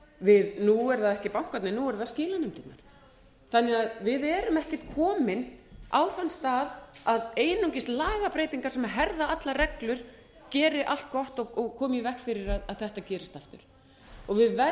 nú eru það ekki bankarnir nú eru það skilanefndirnar þannig að við erum ekkert komin á þann stað að einungis lagabreytingar sem herða allar reglur geri allt gott og komi í veg fyrir að þetta gerist aftur